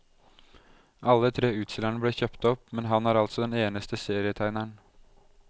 Alle tre utstillerne ble kjøpt opp, men han er altså den eneste serietegneren.